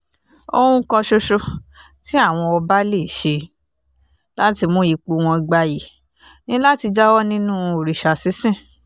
ohun kan ṣoṣo tí àwọn ọba lè ṣe láti mú ipò wọn gbayì ni láti jáwọ́ nínú òrìṣà sísìn